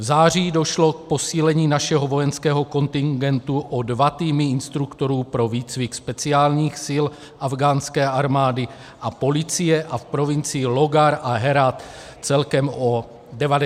V září došlo k posílení našeho vojenského kontingentu o dva týmy instruktorů pro výcvik speciálních sil afghánské armády a policie a v provincii Lógar a Herát celkem o 90 vojáků.